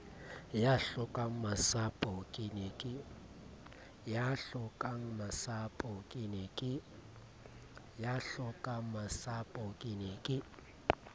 ya hlokangmasapo ke ne ke